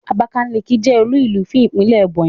Abakaliki je olúùlú fún Ìpínlẹ̀ Ebonyi